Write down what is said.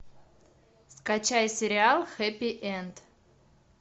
скачай сериал хэппи энд